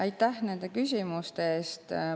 Aitäh nende küsimuste eest!